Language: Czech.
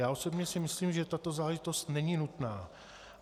Já osobně si myslím, že tato záležitost není nutná.